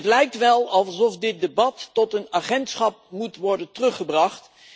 Het lijkt wel alsof dit debat tot een agentschap moet worden teruggebracht.